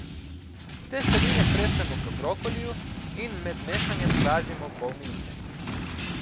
Testenine stresemo k brokoliju in med mešanjem pražimo pol minute.